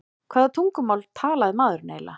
Hvaða tungumál talaði maðurinn eiginlega?